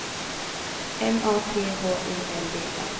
M A T H I L D A